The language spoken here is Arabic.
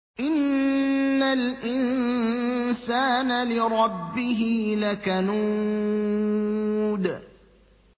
إِنَّ الْإِنسَانَ لِرَبِّهِ لَكَنُودٌ